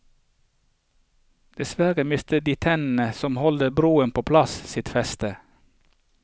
Dessverre mister de tennene som holder broene på plass, sitt feste.